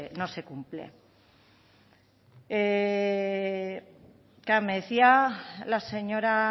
no se cumple claro me decía la señora